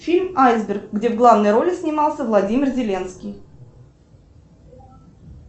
фильм айсберг где в главной роли снимался владимир зеленский